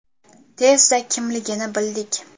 Tezda kimligini bildik.